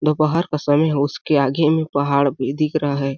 दोपहर का समय है उसके आगे में पहाड़ भी दिख रहा हैं ।